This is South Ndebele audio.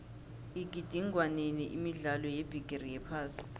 igidingwenini imidlalo yebigiri yephasi